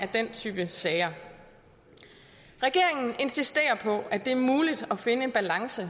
den type sager regeringen insisterer på at det er muligt at finde en balance